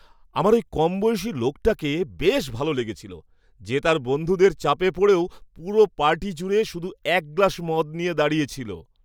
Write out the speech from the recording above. আমার ওই কমবয়সী লোকটাকে বেশ ভালো লেগেছিল যে তার বন্ধুদের চাপে পড়েও পুরো পার্টি জুড়ে শুধু এক গ্লাস মদ নিয়ে দাঁড়িয়ে ছিল।